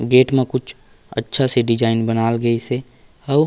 gate में कुछ अच्छा -सी डिज़ाइन बनाल गइसे अउ --